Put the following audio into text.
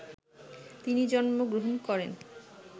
তিনি জন্ম গ্রহণ করেন